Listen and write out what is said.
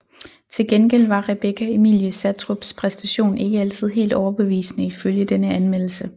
Til gengæld var Rebecca Emilie Sattrups præstation ikke altid helt overbevisende ifølge denne anmeldelse